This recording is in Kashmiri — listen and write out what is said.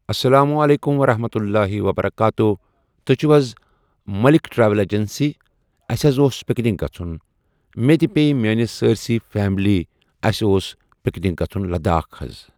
اسلامُ علیکم ورحمتہُ اللہِ وبرکاتہ تُہۍ چھوا حظ مٔلِکھ ٹریول ایٚجنسی اَسہِ حظ اوس پِکنِک گژھُن مےٚ تہٕ بیٚیہِ میٛأنِس سأرۍ سےٕ فیملی اَسہِ اوس پِکنِک گژھُن لداخ حظ.